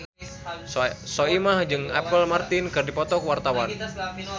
Soimah jeung Apple Martin keur dipoto ku wartawan